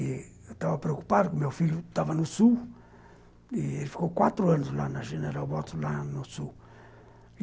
Eu estava preocupado, porque o meu filho estava no sul e ele ficou quatro anos lá na General Bots, lá no sul.